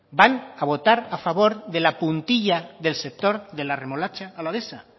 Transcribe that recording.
van a votar a favor de la puntilla del sector de la remolacha alavesa